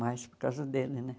Mais por causa dele, né?